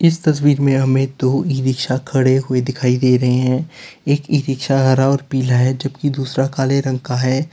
इस तस्वीर में हमें दो ई रिक्शा खड़े हुए दिखाई दे रहे हैं एक ई रिक्शा हरा और पीला है जबकि दूसरा काले रंग का है।